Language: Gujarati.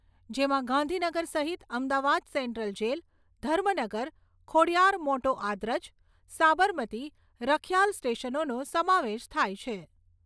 જેમાં, ગાંધીનગર સહિત અમદાવાદ સેન્ટ્રલ જેલ, ધર્મનગર, ખોડીયાર મોટો આદરજ, સાબરમતી, રખીયાલ સ્ટેશનોને સમાવેશ થાય છે.